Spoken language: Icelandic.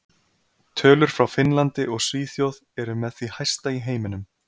Tölur frá Finnlandi og Svíþjóð eru með því hæsta í heiminum.